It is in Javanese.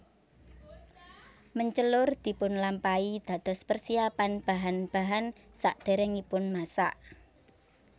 Mencelur dipunlampahi dados persiapan bahan bahan sakderengipun masak